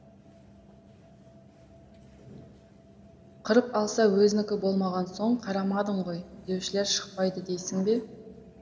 қырып алса өзінікі болмаған соң қарамадың ғой деушілер шықпайды дейсің бе